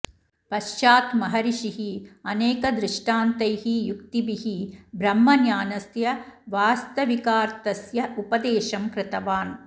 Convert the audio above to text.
पश्चात् महर्षिः अनेकदृष्टान्तैः युक्तिभिः ब्रह्मज्ञानस्य वास्तविकार्थस्य उपदेशं कृतवान्